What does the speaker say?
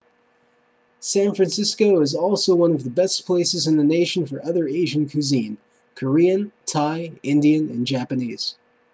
san francisco is also one of the best places in the nation for other asian cuisine korean thai indian and japanese